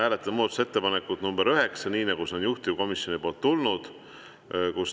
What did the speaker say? Hääletame muudatusettepanekut nr 9, nii nagu see on juhtivkomisjonist tulnud.